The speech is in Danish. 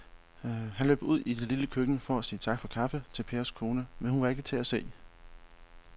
Han løb ud i det lille køkken for at sige tak for kaffe til Pers kone, men hun var ikke til at se.